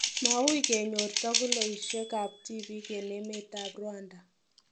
Mawuu kenyor toguloisiek ab tibiik en emet ab Rwanda.